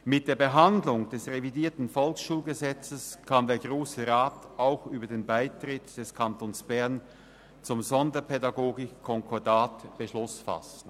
Mit der Behandlung des revidierten VSG kann der Grosse Rat auch über den Beitritt des Kantons Bern zum Sonderpädagogikkonkordat Beschluss fassen.